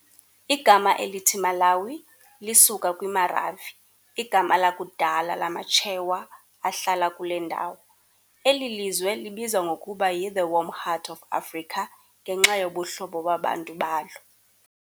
Igama elithi "Malawi" lisuka kwiMaravi, igama lakudala lamaChewa ahlala kule ndawo. Eli lizwe libizwa ngokuba yi "The Warm Heart of Africa" ngenxa yobuhlobo babantu balo.